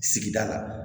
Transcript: Sigida la